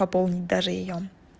пополнить даже её